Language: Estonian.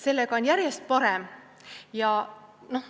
Sellega on järjest paremini.